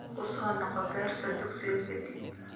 Ku soo noqo beerta dugsiga ka dib.